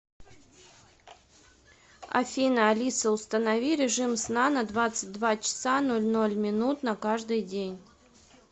афина алиса установи режим сна на двадцать два часа ноль ноль минут на каждый день